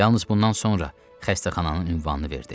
Yalnız bundan sonra xəstəxananın ünvanını verdi.